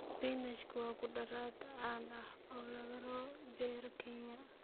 Spinach waa khudrad caan ah oo laga beero Kenya.